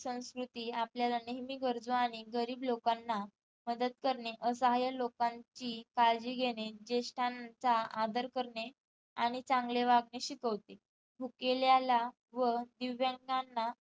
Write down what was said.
संस्कृती आपल्याला नेहमी गरजू आणि गरीब लोकांना मदत करणे असाह्य लोकांची काळजी घेणे जेष्टांचा आदर करणे आणि चांगले वागणे शिकवते भुकेलेल्याला व दिव्यांगांना